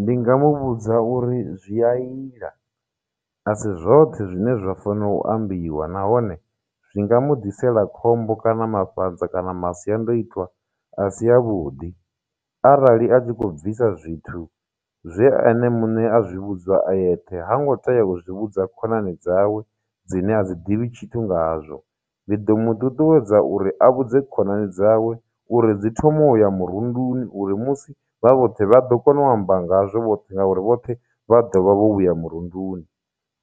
Ndi nga mu vhudza uri zwi a ila asi zwoṱhe zwine zwa fano u ambiwa nahone zwi nga mu ḓisela khombo kana mafhanza kana masiandoitwa a si a vhuḓi arali a tshi kho bvisa zwithu zwe ene muṋe a zwi vhudzwa a eṱhe ha ngo tea u zwi vhudza khonani dzawe dzine a dzi ḓivhi tshithu ngazwo ndi ḓo mu ṱuṱuwedza uri a vhudze khonani dzawe uri dzi thoma u ya murunduni uri musi vha vhoṱhe vha ḓo kona u amba ngazwo vhoṱhe ngauri vhoṱhe vha ḓovha vho vhuya murunduni